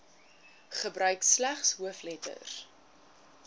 gebruik slegs hoofletters